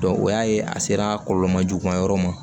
o y'a ye a sera kɔlɔlɔ ma juguman yɔrɔ ma